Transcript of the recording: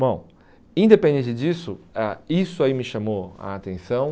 Bom, independente disso, ah isso aí me chamou a atenção.